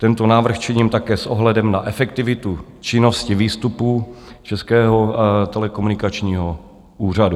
Tento návrh činím také s ohledem na efektivitu činnosti výstupu Českého telekomunikačního úřadu.